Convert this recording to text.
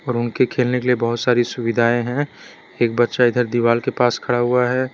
और उनके खेलने के लिए बहोत सारी सुविधाएं हैं एक बच्चा इधर दिवाल के पास खड़ा हुआ है।